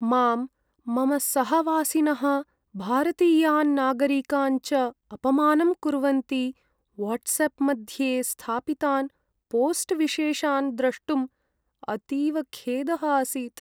मां, मम सहवासिनः भारतीयान् नागरिकान् च अपमानं कुर्वन्ति वाट्साप् मध्ये स्थापितान् पोस्ट् विशेषान् द्रष्टुम् अतीव खेदः आसीत्।